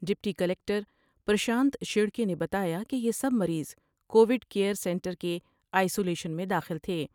Deputy collector Prashant شیر کے نے بتایا کہ یہ سب مریض کو ویڈ کیئر سینٹر کے آئیسولیشن میں داخل تھے ۔